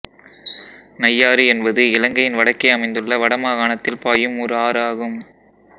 நையாறு என்பது இலங்கையின் வடக்கே அமைந்துள்ள வடமாகாணத்தில் பாயும் ஓர் ஆறு ஆகும்